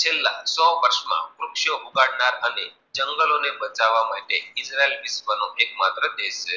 છેલ્લા સો બસ માં રુક્ષો ઉગડનાર અને જંગલો ને બતાવા માટે ઇઝરાયલ વિશ્ર્વ માત્ર નો દેશ છે.